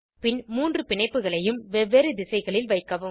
பின் மூன்று பிணைப்புகளையும் வெவ்வேறு திசைகளில் வைக்கவும்